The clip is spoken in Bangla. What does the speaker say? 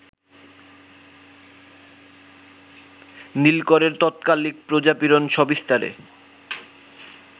নীলকরের তৎকালিক প্রজাপীড়ন সবিস্তারে